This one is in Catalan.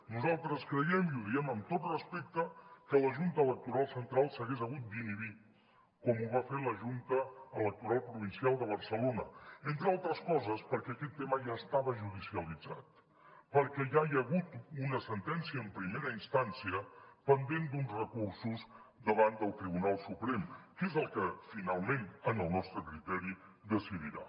nosaltres creiem i ho diem amb tot respecte que la junta electoral central s’hagués hagut d’inhibir com ho va fer la junta electoral provincial de barcelona entre altres coses perquè aquest tema ja estava judicialitzat perquè ja hi ha hagut una sentència en primera instància pendent d’uns recursos davant del tribunal suprem que és el que finalment en el nostre criteri decidirà